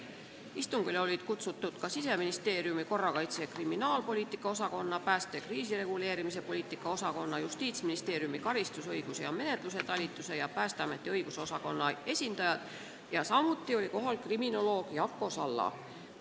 Istungile olid kutsutud ka Siseministeeriumi korrakaitse- ja kriminaalpoliitika osakonna, pääste- ja kriisireguleerimispoliitika osakonna, Justiitsministeeriumi karistusõiguse ja menetluse talituse ning Päästeameti õigusosakonna esindajad, samuti oli kohal kriminoloog Jako Salla.